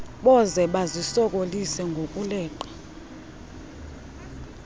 boze bazisokolise ngokuleqa